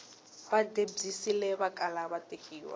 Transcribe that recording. va debyisile vakala va tekeriwa